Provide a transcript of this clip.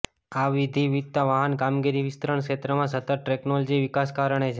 આ વિવિધતા વાહન કામગીરી વિસ્તરણ ક્ષેત્રમાં સતત ટેકનોલોજી વિકાસ કારણે છે